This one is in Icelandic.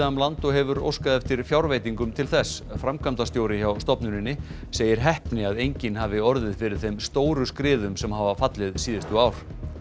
land og hefur óskað eftir fjárveitingum til þess framkvæmdastjóri hjá stofnuninni segir heppni að enginn hafi orðið fyrir þeim stóru skriðum sem hafa fallið síðustu ár